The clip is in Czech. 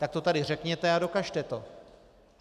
Tak to tady řekněte a dokažte to.